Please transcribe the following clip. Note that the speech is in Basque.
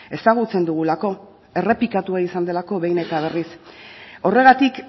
ezagutzen dugulako errepikatua izan delako behin eta berriz horregatik